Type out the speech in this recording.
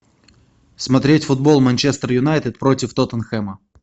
смотреть футбол манчестер юнайтед против тоттенхэма